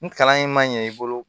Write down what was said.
Ni kalan in ma ɲɛ i bolo